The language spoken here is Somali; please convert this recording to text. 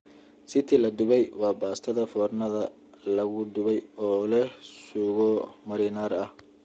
Ziti la dubay waa baastada foornada lagu dubay oo leh suugo marinara ah.